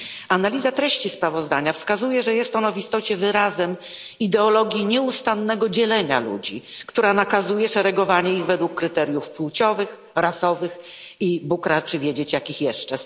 Analiza treści sprawozdania wskazuje, że jest ono w istocie wyrazem ideologii nieustannego dzielenia ludzi, która nakazuje szeregowanie ich według kryteriów płciowych, rasowych i, Bóg raczy wiedzieć, jakich jeszcze.